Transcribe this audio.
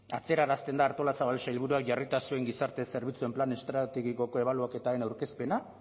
atzerarazten da artolazabal sailburuak jarrita zuen gizarte zerbitzuen plan estrategikoko ebaluaketaren aurkezpena